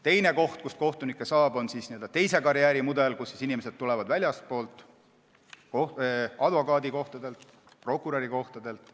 Teine võimalus, kuidas kohtunikke saada, on n-ö teise karjääri mudel, kui inimesed tulevad väljastpoolt, näiteks advokaadikohtadelt, prokurörikohtadelt.